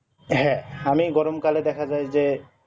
হ্যাঁ আমি গরম কালে দেখা যাই যে